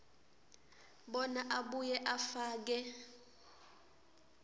bona abuye afake